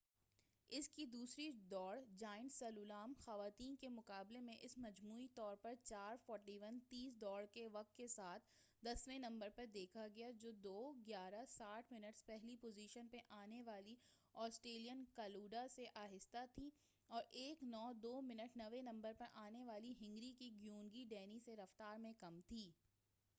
اس کی دوسری دوڑ، جائنٹ سلالوم، خواتیں کے مقابلوں میں اسے مجموعی طور پر 4:41.30 دوڑ کے وقت کے ساتھ، دسویں نمبر پے دیکھا گیا جو 2:11.60 منٹس پہلی پوزیشن پے آنے والی آسٹریلین کلاوڈا سے آہستہ تھی اور 1:09.02 منٹس نویں نمبر پر آنے والی ہنگری کی گیونگی ڈینی سے رفتار میں کم تھی۔